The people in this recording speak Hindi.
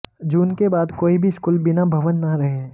जून के बाद कोई भी स्कूल बिना भवन न रहे